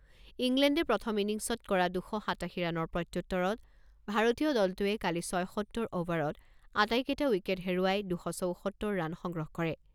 ইংলেণ্ডে প্ৰথম ইনিংছত কৰা দুশ সাতাশী ৰানৰ প্ৰত্যুত্তৰত ভাৰতীয় দলটোৱে কালি ছয়সত্তৰ অভাৰত আটাইকেইটা উইকেট হেৰুৱাই দুশ চৌসত্তৰ ৰান সংগ্ৰহ কৰে।